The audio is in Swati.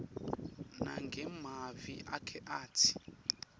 nangemavi akhe atsi